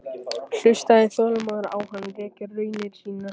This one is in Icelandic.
Hlustaði þolinmóður á hann rekja raunir sínar.